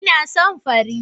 Ina son fari